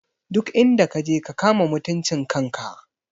Duk inda kaje ka kama mutuncin kan ka!